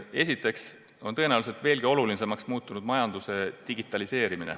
Esiteks on tõenäoliselt veelgi olulisemaks muutumas majanduse digitaliseerimine.